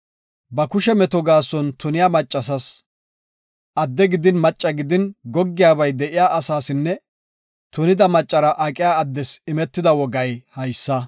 ba kushe meto gaason tuniya maccasas, adde gidin macca gidin goggiyabay de7iya asaasinne tunida maccara aqiya addes imetida wogay haysa.